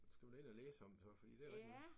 Skal vi da ind og læse om så fordi det da rigtigt nok